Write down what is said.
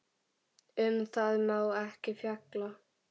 Um það má ekki fjalla.